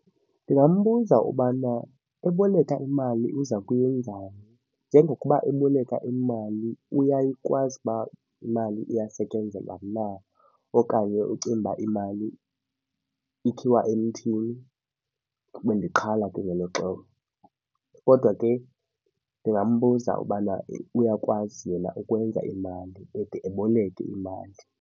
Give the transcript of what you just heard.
Ndingambuza ubana uboleka imali uza kuyenzani. Njengokuba eboleka imali uyakwazi uba imali iyasetyenzelwa na okanye ucinga uba imali ikhiwa emthini . Kodwa ke ndingambuza ubana uyakwazi yena ukwenza imali ede eboleke imali.